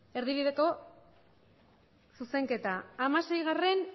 erdibideko zuzenketa hamaseigarrena